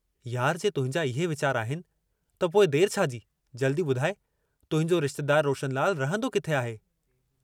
यार, जे तुंहिंजा ईहे वीचार आहिनि त पोइ देर छाजी जल्दी ॿुधाइ तुहिंजो रिश्तेदारु रोशनलालु रहंदो किथे आहे?